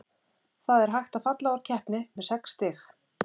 Það er hægt að falla úr keppni með sex stig.